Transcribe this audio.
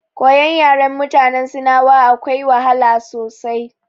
Koyon yaren mutanen sinawa akwai wahala sosai.